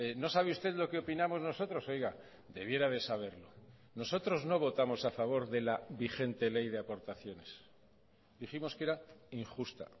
no sabe usted lo que opinamos nosotros oiga debiera de saberlo nosotros no votamos a favor de la vigente ley de aportaciones dijimos que era injusta